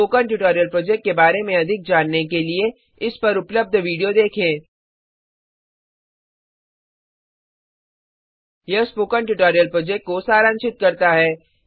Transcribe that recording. spoken tutorial project के बारे में अधिक जानने के लिए इस पर उपलब्ध विडियो देखें 1 यह स्पोकन ट्यूटोरियल प्रोजेक्ट को सारांशित करता है